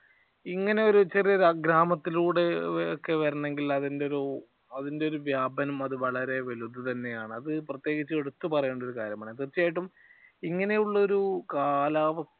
ഇങ്ങനെയൊരു ചെറിയ ഗ്രാമത്തിലൂടെ വരണമെങ്കിൽ അതിന്റെ ഒരു അതിന്റെ ഒരുവ്യാപനം അത് വളരെ വലുത് തന്നെയാണ്. അത് പ്രത്യേകിച്ച് എടുത്തു പറയേണ്ട ഒരു കാര്യമാണ്. തീർച്ചയായിട്ടും ഇങ്ങനെയുള്ള ഒരു കാലാവസ്ഥ